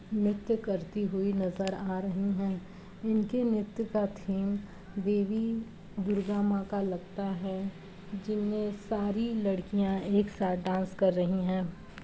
नृत्य करती हुई नज़र आ रहीं हैं | इनके नृत्य का थीम देवी दुर्गा माँ का लगता है | जिनमे सारी लड़कियां एक साथ डांस कर रहीं हैं।